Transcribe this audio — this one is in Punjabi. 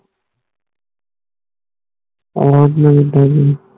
ਆਹੋ ਓਦੇ ਨਾਲ ਐਡਾ ਸੀ